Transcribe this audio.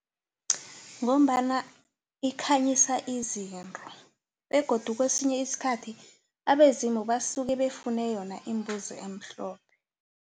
Ngombana ikhanyisa izinto begodu kwesinye isikhathi abezimu basuke bafune yona imbuzi emhlophe.